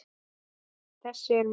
Þessi er minn.